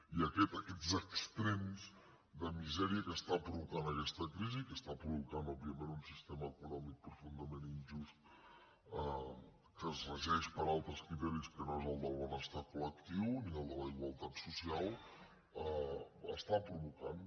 i aquests extrems de misèria que està provocant aquesta crisi i que està provocant òbviament un sistema econòmic profundament injust que es regeix per altres criteris que no són el del benestar col·lectiu ni el de la igualtat social està provocant